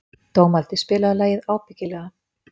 Dómaldi, spilaðu lagið „Ábyggilega“.